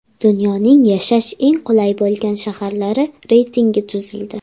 Dunyoning yashash eng qulay bo‘lgan shaharlari reytingi tuzildi.